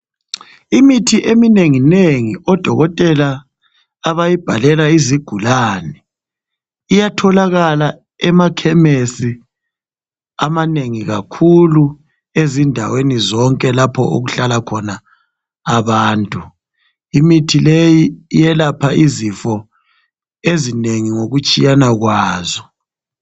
Imithi eminenginengi odokotela abayibhalela izigulane iyatholakala emakhemesi amanengi kakhulu, ezindaweni zonke lapho okuhlala khona abantu. Imithi leyi iyelapha izifo ezinengi ngokutshiyana kwazo.